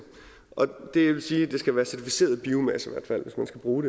og det vil sige at det skal være certificeret biomasse hvis man skal bruge